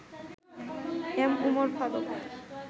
M. Umar Faruk